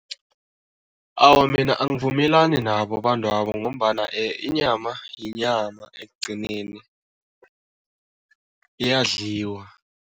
Awa, mina angivumelani nabo abantwabo ngombana inyama yinyama ekugcineni, iyadliwa.